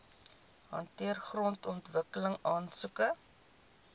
hanteer grondontwikkeling aansoeke